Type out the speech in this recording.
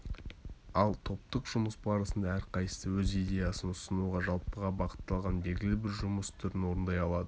ал топтық жұмыс барысында әрқайсысы өз идеясын ұсынуға жалпыға бағытталған белгілі бір жұмыс түрін орындай алады